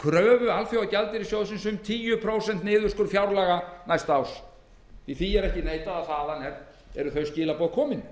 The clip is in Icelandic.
kröfu alþjóðagjaldeyrissjóðsins um tíu prósent niðurskurð fjárlaga næsta árs því verður ekki neitað að þaðan eru þau skilaboð komin